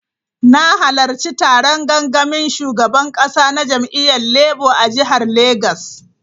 Na halarci taron gangamin shugaban kasa na jam’iyyar Labour a jihar Legas.